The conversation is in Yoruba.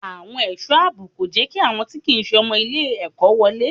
Àwọn ẹ̀sọ́ àbò kò jẹ́ kí àwọn tí kìí se ọmọ ilé ẹ̀kọ́ wọlé.